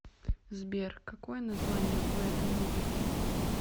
сбер какое название у этой музыки